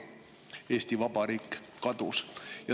Eesti Vabariik kadus.